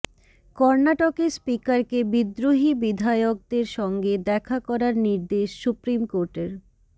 কর্নাটকের স্পিকারকে বিদ্রোহী বিধায়কদের সঙ্গে দেখা করার নির্দেশ সুপ্রিম কোর্টের